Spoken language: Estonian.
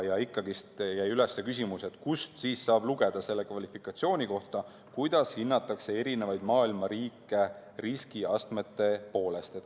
Ikkagi jäi üles küsimus, kust siis saab lugeda selle klassifikatsiooni kohta, kuidas hinnatakse maailma riike riskiastmete poolest.